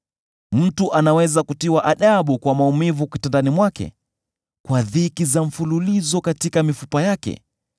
Mtu anaweza kutiwa adabu kwa maumivu kitandani mwake, kwa dhiki za mfululizo katika mifupa yake,